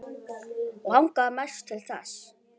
Langaði mest til þess.